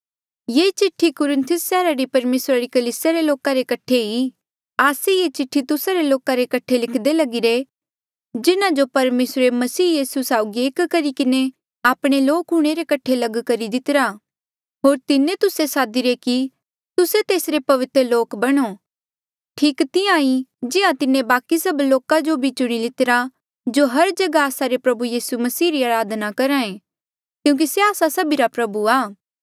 ये चिठ्ठी कुरिन्थुस सैहरा री परमेसरा री कलीसिया रे लोका रे कठे ईं आस्से ये चिठ्ठी तुस्सा लोका रे कठे लिखदे लगिरे जिन्हा जो परमेसरे मसीह यीसू साउगी एक करी किन्हें आपणे लोक हूंणे रे कठे लग कितिरा होर तिन्हें तुस्से सादीरे कि तुस्से तेसरे पवित्र लोक बणो ठीक तिहां जिहां तिन्हें बाकि सब लोका जो भी चुणी लितिरा जो हर जगहा आस्सा रे प्रभु यीसू मसीह री अराधना करहा ऐें क्यूंकि से आस्सा सभीरा प्रभु आ